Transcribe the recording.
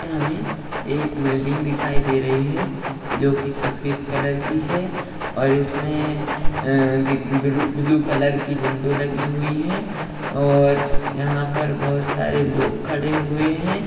हमें एक बिल्डिंग दिखाई दे रही है जो की सफेद कलर की है और इसमें ब्लू-ब्लू कलर की विंडो लगी हुई है और यहां पर बहुत सारे लोग खड़े हुए है।